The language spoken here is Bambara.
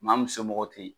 Maa min somɔgɔ tɛ yen